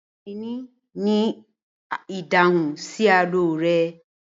Ọkini ni ìdáhùn sí àlọ́ rẹ.